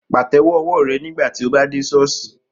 Pàtẹ́wọ́ ọwọ́ rẹ nígbà tí o bá dé ṣọ́ọ̀ṣì